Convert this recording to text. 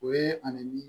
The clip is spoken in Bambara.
O ye ani